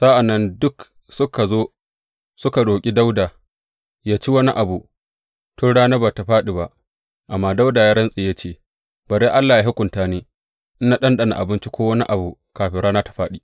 Sa’an nan duk suka zo suka roƙi Dawuda yă ci wani abu tun rana ba tă fāɗi ba; amma Dawuda ya rantse ya ce, Bari Allah yă hukunta ni, in na ɗanɗana abinci ko wani abu kafin rana ta fāɗi!